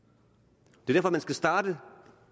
det er derfor man skal starte